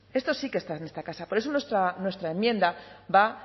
esto sí que está en esta casa por eso nuestra enmienda va